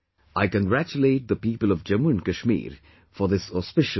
I congratulate the people of Jammu and Kashmir for this auspicious work